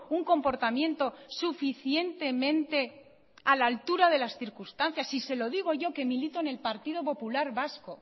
un comportamiento suficientemente a la altura de las circunstancias se lo digo yo que milito en el partido popular vasco